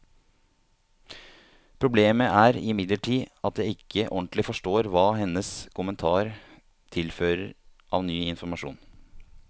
Problemet er imidlertid at jeg ikke ordentlig forstår hva hennes kommentar tilfører av ny informasjon.